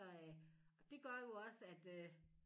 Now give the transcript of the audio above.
Så øh og det gør jo også at øh